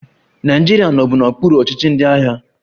Naịjirịa nọbu n'okpuru ọchịchị ndị agha